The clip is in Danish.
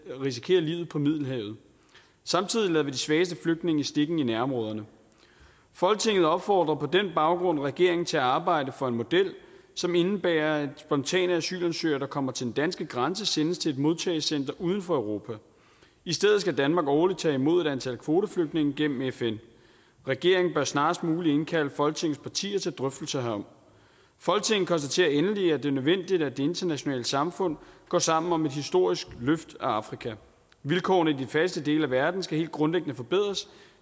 risikere livet på middelhavet samtidig lader vi de svageste flygtninge i stikken i nærområderne folketinget opfordrer på den baggrund regeringen til at arbejde for en model som indebærer at spontane asylansøgere der kommer til den danske grænse sendes til et modtagecenter uden for europa i stedet skal danmark årligt tage imod et antal kvoteflygtninge gennem fn regeringen bør snarest muligt indkalde folketingets partier til drøftelser herom folketinget konstaterer endelig at det er nødvendigt at det internationale samfund går sammen om et historisk løft af afrika vilkårene i de fattigste dele af verden skal helt grundlæggende forbedres